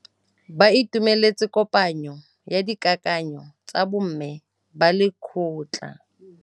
Ba itumeletse kôpanyo ya dikakanyô tsa bo mme ba lekgotla.